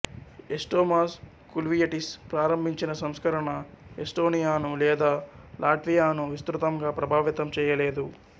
ఎస్టోమాస్ కుల్వియటిస్ ప్రారంభించిన సంస్కరణ ఎస్టోనియాను లేదా లాట్వియాను విస్తృతంగా ప్రభావితం చేయలేదు